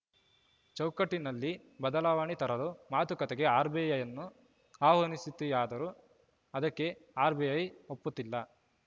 ಚೌಕಟ್ಟಿನಲ್ಲಿ ಬದಲಾವಣೆ ತರಲು ಮಾತುಕತೆಗೆ ಆರ್‌ಬಿಐ ಅನ್ನು ಆಹ್ವಾನಿಸುತ್ತಿದೆಯಾದರೂ ಅದಕ್ಕೆ ಆರ್‌ಬಿಐ ಒಪ್ಪುತ್ತಿಲ್ಲ